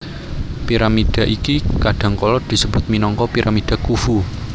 Piramida iki kadhangkala disebut minangka Piramida Khufu